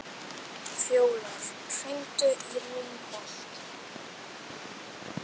Fjólar, hringdu í Reinholt.